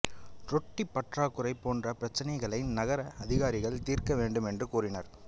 ரொட்டி பற்றாக்குறை போன்ற பிரச்சனைகளை நகர அதிகாரிகள் தீர்க்க வேண்டுமென்று கோரினர்